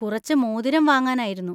കുറച്ച് മോതിരം വാങ്ങാനായിരുന്നു.